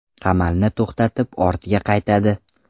Qamalni to‘xtatib ortga qaytadi.